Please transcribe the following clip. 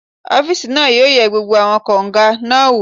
Ọ́físà náà yóò yẹ gbogbo àwọn kágò náà wò